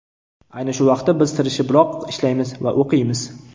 Ayni shu vaqtda biz tirishibroq ishlaymiz va o‘qiymiz.